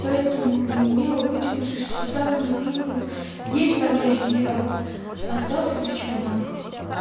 и поэтому неумело вытянувшись и сдавленно крикнув есть товарищ генерал остался при чемоданах